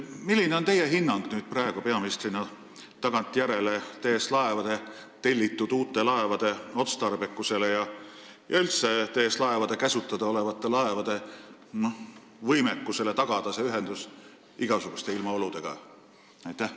Milline on tagantjärele teie kui praeguse peaministri hinnang TS Laevade tellitud uute laevade otstarbekusele ja üldse nende võimekusele tagada ühendus igasuguste ilmaoludega?